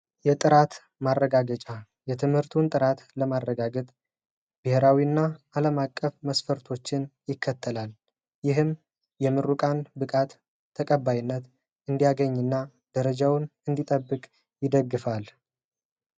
የጥራት ማረጋገጫ የትምህርቱን ጥራት ለማረጋገጥ ብሔራዊና ዓለም አቀፍ መስፈርቶችን ይቀበላል፤ ይህም የምሩቃንን ተቀባይነት እንዲያገኝና ደረጃውን እንዲጠብቅ ይደግፋል።